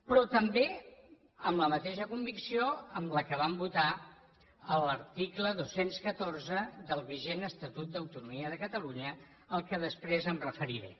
però també amb la mateixa convicció amb què vam votar l’article dos cents i catorze del vigent estatut d’autonomia de catalunya al qual després em referiré